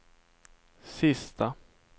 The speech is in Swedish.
sista